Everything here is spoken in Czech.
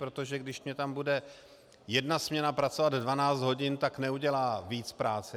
Protože když mi tam bude jedna směna pracovat 12 hodin, tak neudělá víc práce.